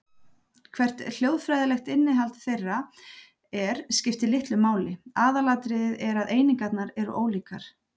Hvert hljóðfræðilegt innihald þeirra er skiptir litlu máli, aðalatriðið er að einingarnar eru ólíkar.